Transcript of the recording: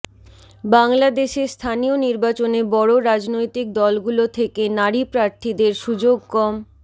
বাংলাদেশে স্থানীয় নির্বাচনে বড় রাজনৈতিক দলগুলো থেকে নারী প্রার্থীদের সুযোগ কম